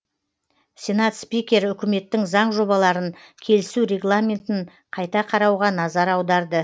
сенат спикері үкіметтің заң жобаларын келісу регламентін қайта қарауға назар аударды